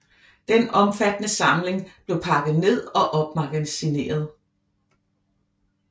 Den omfattende samling blev pakket ned og opmagasineret